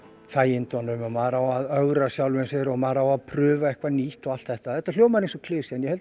þægindunum og maður á að ögra sjálfum sér og maður á að prufa eitthvað nýtt og allt þetta og þetta hljómar eins og klisja en ég held